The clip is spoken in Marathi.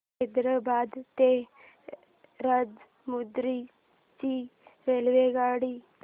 हैदराबाद ते राजमुंद्री ची रेल्वेगाडी